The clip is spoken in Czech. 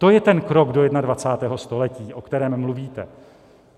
To je ten krok do 21. století, o kterém mluvíte.